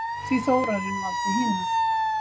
Því Þórarinn valdi hina.